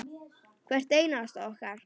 Hvert einasta okkar.